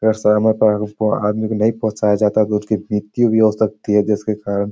अगर समय पे हम उसको आदमी को नहीं पहुँचाया जाता है तो उसकी मृत्यु भी हो सकती है जिसके कारण --